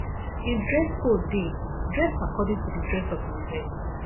if dress code de dress according to di dress of di event